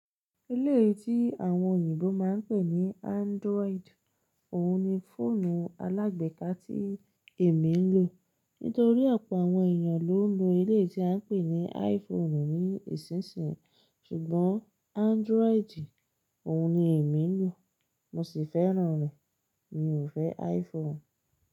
Iléyi tí àwọn òyìnbó máa ń pè ní Android, òhun ni fóònù alágbeka tí èmi ń lò. Nítorí ọ̀pọ̀ àwọn èèyàn ló ń lo iléyi tí a ń pè ní iPhone ní ìsinsìnyí. Ṣùgbọ́n Android òhun ni èmi ń lò, mo sì fẹ́ràn rẹ̀. Mi ò fẹ́ iPhone.